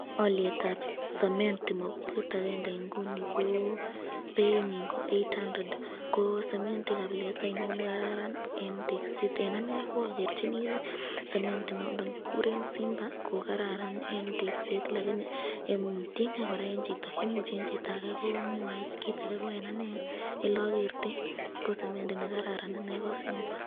Olietab semendi mokubet akeng'e ng'uni ko beinyin ko eight hundred, ko semendi kabilet ainon nekararan en tekset, en anee okerchini semendi nondon kikuren Simba ko kararan en tekset lakini tieng'e kora en chito, imuche en chito akee ko mwoee kiit akee ko en anee elokertoi ko semendi nekararan anee ko simba.